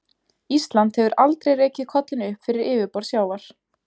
Ísland hefur aldrei rekið kollinn upp fyrir yfirborð sjávar.